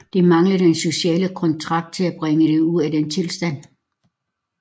Det manglede den sociale kontrakt til at bringe det ud af den tilstand